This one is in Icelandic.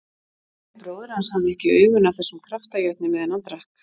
Kalli bróðir hans hafði ekki augun af þessum kraftajötni meðan hann drakk